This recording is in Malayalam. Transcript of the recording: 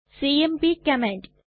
CMP command